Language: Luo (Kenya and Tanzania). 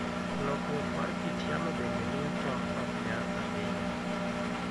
Lokruok mar kit yamo bende miyo tong' ok nya ahinya.